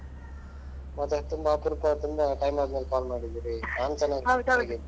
ಮತ್ತೆ ತುಂಬಾ ಅಪರೂಪ ತುಂಬಾ time ಆದ್ಮೇಲೆ call ಮಾಡಿದ್ದೀರಿ ನಾನು ಚೆನ್ನಾಗಿದ್ದೀನಿ.